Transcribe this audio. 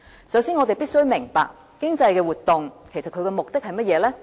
首先，我們必須明白，經濟活動的目的是甚麼？